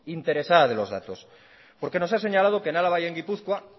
interesada de los datos porque nos ha señalado que en álava y en gipuzkoa